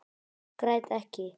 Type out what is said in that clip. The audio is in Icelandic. Græt ekki.